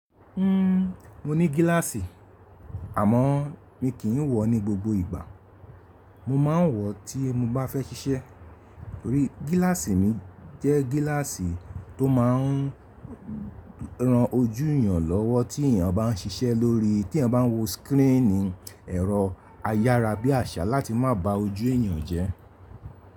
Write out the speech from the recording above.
Mo ní gíláàsì àmọ́ mi kì í wọ̀ ọ́ ní gbogbo ìgbà. Mo máa ń wọ̀ ọ́ tí mo bá fẹ́ ṣiṣẹ́. Nítorí gíláàsì mi jẹ́ gíláàsì tó máa ń ran ojú èèyàn lọ́wọ́ tí èèyàn bá ń ṣiṣẹ́ lórí, tí èèyàn bá ń wo síkrínì. Ẹ̀rọ ayára bí àṣá láti má ba ojú èèyàn jẹ́.